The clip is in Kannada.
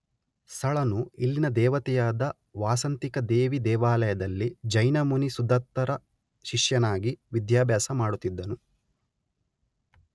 ಸಳನು ಇಲ್ಲಿನ ದೇವತೆಯಾದ ವಾಸಂತಿಕ ದೇವಿ ದೇವಾಲಯದಲ್ಲಿ ಜೈನ ಮುನಿ ಸುದತ್ತರ ಶಿಷ್ಯನಾಗಿ ವಿದ್ಯಾಭ್ಯಾಸ ಮಾಡುತಿದ್ದನು.